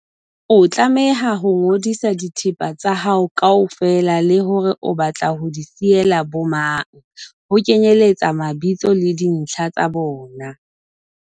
O tlameha ho ngodisa dithepa tsa hao kaofela le hore o batla ho di siyela bomang, ho kenyeletsa mabitso le dintlha tsa bona.